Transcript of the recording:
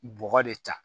Bɔgɔ de ta